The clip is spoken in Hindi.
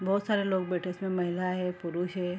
बोहोत सारे लोग बैठे हैं इसमें महिला है पुरुष है।